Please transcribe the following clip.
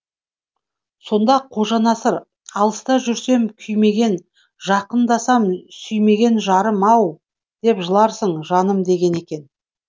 сонда қожанасыр алыста жүрсем күймеген жақындасам сүймеген жарым ау деп жыларсың жаным деген екен